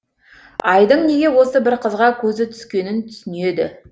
айдың неге осы бір қызға көзі түскенің түсінеді